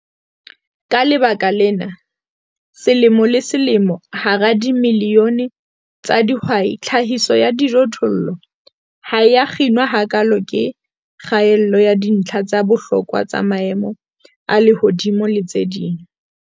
Ka baka lena, selemo le selemo, hara dimilione tsa dihwai, tlhahiso ya dijothollo ha e a kginwa hakaalo ke kgaello ya dintlha tsa bohlokwa tsa maemo a lehodimo le tse ding.